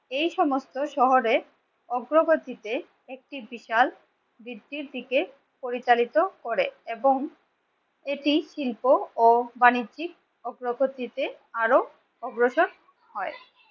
এই সমস্ত শহরে অগ্রগতিতে একটি বিশাল বৃদ্ধির দিকে পরিচালিত করে এবং এটি শিল্প ও বাণিজ্যিক প্রগতিতে আরো অগ্রসর হয়।